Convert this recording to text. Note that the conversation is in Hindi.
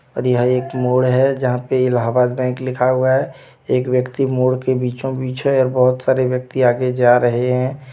और यहाँ एक मोड़ हे जहा पे इलाहाबाद बैंक लिखा हुआ हे एक व्यक्ति मोड़ के बीचो बिच हे और बहोत सारे व्यक्ति आगे जा रहे हे.